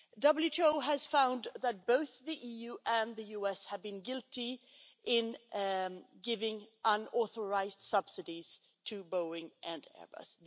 WTO has found that both the EU and the US have been guilty of giving unauthorised subsidies to Boeing and Airbus.